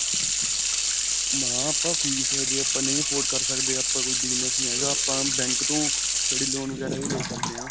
ਮੈਂ ਕਿਹਾ, ਆਪਾਂ ਫੀਸ ਜੇ ਆਪਾਂ ਨਹੀਂ afford ਕਰ ਸਕਦੇ, ਆਪਣਾ ਕੋਈ business ਨਹੀਂ ਹੈਗਾ, ਆਪਾਂ bank ਤੋ study loan ਵਗੈਰਾ ਵੀ ਲੈ ਸਕਦੇ ਹਾਂ.